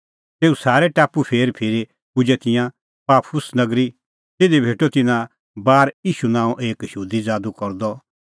तेऊ सारै टापू फेर फिरी पुजै तिंयां पाफुस नगरी तिधी भेटअ तिन्नां बार ईशू नांओं एक यहूदी ज़ादू करदअ और सह त झ़ुठअ गूर